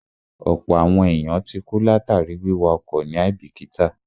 Ọ̀pọ̀ àwọn èèyàn ti kú látàríi wíwa ọkọ̀ ní àíbìkítà